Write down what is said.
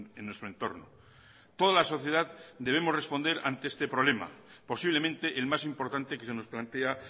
en nuestro entorno toda la sociedad debemos responder ante este problema posiblemente el más importante que se nos plantea